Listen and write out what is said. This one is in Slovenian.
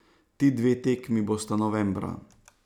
Ti dve tekmi bosta novembra.